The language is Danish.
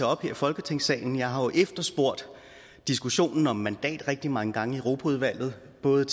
op her i folketingssalen jeg har jo efterspurgt diskussionen om mandat rigtig mange gange i europaudvalget både